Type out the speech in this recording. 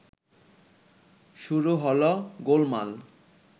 শুরু হলো গোলমাল